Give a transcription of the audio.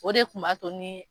O de kun b'a to ni